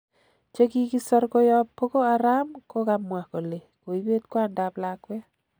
Chekikisor koyob Boko Haram kokamwa kole koibet kwandap lakwet